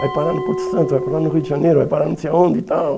Vai parar no Porto Santo, vai parar no Rio de Janeiro, vai parar não sei onde e tal.